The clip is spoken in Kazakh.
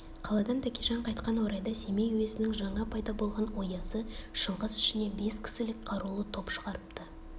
қаладан тәкежан қайтқан орайда семей уезінің жаңа пайда болған оязы шыңғыс ішіне бес кісілік қарулы топ шығарыпты